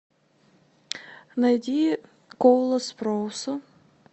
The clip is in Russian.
найди коула спроуса